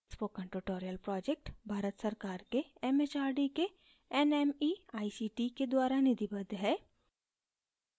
spoken tutorial project Bharat सरकार के mhrd के nmeict के द्वारा निधिबद्ध है